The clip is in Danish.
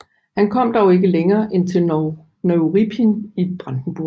Han kom dog ikke længere end til Neuruppin i Brandenburg